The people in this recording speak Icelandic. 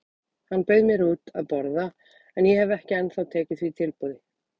Hann bauð mér út að borða en ég hef ekki ennþá tekið því tilboð.